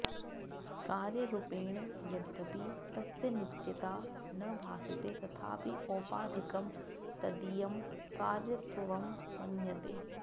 कार्यरुपेण यद्यपि तस्य नित्यता न भासते तथापि औपाधिकं तदीयं कार्यत्वं मन्यते